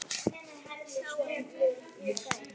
Það sáum við í gær.